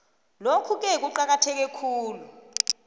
lokhuke kuqakatheke khulu